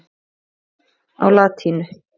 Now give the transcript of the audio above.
á latínu.